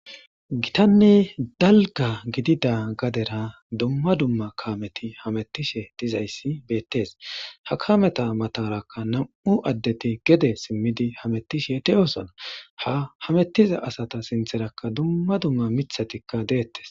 Gitanne dalga gidida gadera dumma dumma Kameti hametishe dizayssi betese ha kameta matarakka nam'u adeti gede simidi hametishe dosona ha hametiza asata sintherakka dumma dumma mithatikka detese